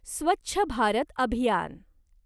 स्वच्छ भारत अभियान